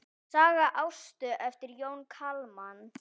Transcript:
Saga Ástu eftir Jón Kalman.